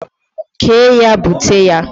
kee ya bute ya.!